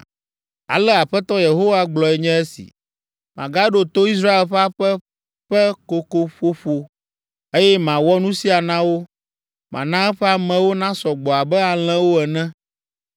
“Ale Aƒetɔ Yehowa gblɔe nye esi: ‘Magaɖo to Israel ƒe aƒe ƒe kokoƒoƒo, eye mawɔ nu sia na wo. Mana eƒe amewo nasɔ gbɔ abe alẽwo ene,